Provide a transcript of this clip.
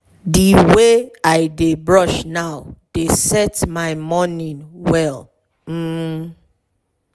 the way i dey brush now dey set my morning well. um